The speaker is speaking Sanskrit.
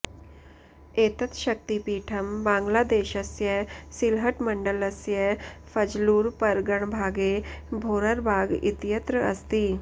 एतत् शक्तिपीठं बाङ्ग्लादेशस्य सिल्हट्मण्डलस्य फज्लुर्परगणभागे भोर्रबाग् इत्य्त्र अस्ति